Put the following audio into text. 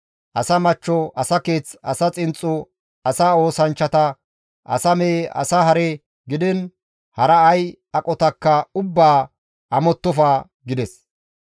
« ‹Asa machcho, asa keeth, asa xinxxo, asa oosanchchata, asa mehe, asa hare gidiin hara ay aqotakka ubbaa amottofa› gides.